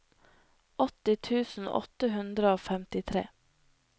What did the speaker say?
åtti tusen åtte hundre og femtitre